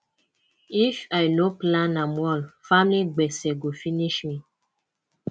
if i no plan am well family gbese go finish me